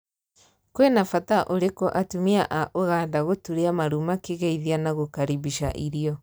Kwina bata urikũ atumia aa Ugunda gũturia maruu makigeithia na gũkaribisha irio